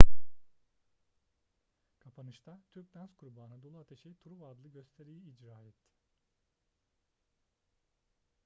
kapanışta türk dans grubu anadolu ateşi truva adlı gösteriyi icra etti